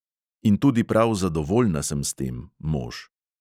In tudi prav zadovoljna sem s tem, mož.